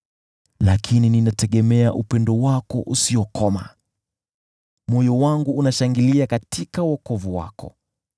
Lakini ninategemea upendo wako usiokoma; moyo wangu unashangilia katika wokovu wako.